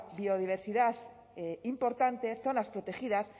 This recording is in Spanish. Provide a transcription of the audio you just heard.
biodiversidad importante zonas protegidas